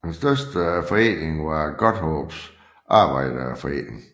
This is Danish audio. Den største forening var Godthåbs Arbejderforening